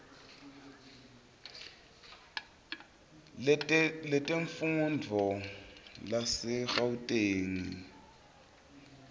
letemfundvo lasegauteng kuhlolwa